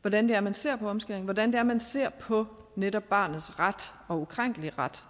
hvordan det er man ser på omskæring hvordan det er man ser på netop barnets ret og ukrænkelige ret